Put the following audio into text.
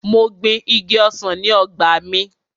Mo gbin Igi ọsàn sí ọgbà mi.